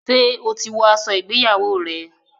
ṣe o tí wò aṣọ ìgbéyàwó rẹ?